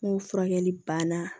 N'o furakɛli banna